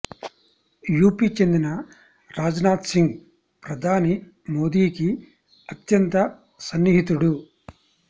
UP చెందిన Rajnath Singh ప్రధాని మోదీకి అత్యంత సన్నిహితుడు